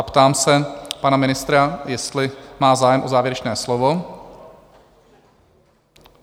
A ptám se pana ministra, jestli má zájem o závěrečné slovo?